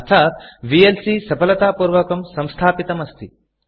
अर्थात् vlcविएल्सी सफलतापूर्वकं संस्थापितम् अस्ति